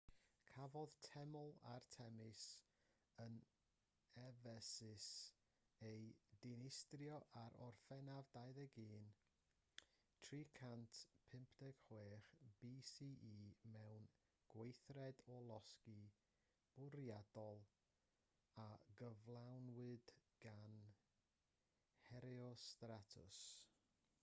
cafodd teml artemis yn effesus ei dinistrio ar orffennaf 21 356 bce mewn gweithred o losgi bwriadol a gyflawnwyd gan herostratus